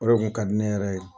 O de kun ka di ne yɛrɛ ye.